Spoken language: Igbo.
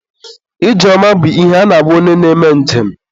ije ọma bụ ihe a na-agwa onye na-eme nje m.